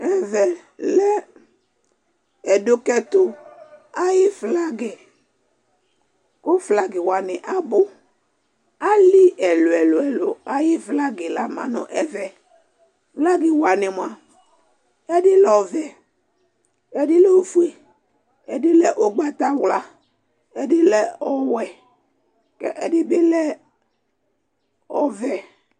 Ɛvɛ lɛ ɛdʋkɛtʋ ayʋ flagɩ kʋ flagɩ wanɩ abʋ Alɩ ɛlʋ-ɛlʋ ayʋ flagɩ la ma nʋ ɛvɛ Flagɩ wanɩ mʋa, ɛdɩ lɛ ɔvɛ, ɛdɩ lɛ ofue, ɛdɩ lɛ ʋgbatawla, ɛdɩ lɛ ɔwɛ kʋ ɛdɩ bɩ lɛ ɔvɛ